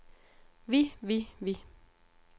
vi vi vi